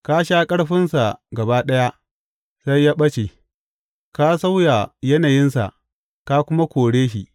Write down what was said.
Ka sha ƙarfinsa gaba ɗaya, sai ya ɓace, ka sauya yanayinsa ka kuma kore shi.